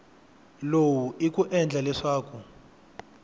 lowu i ku endla leswaku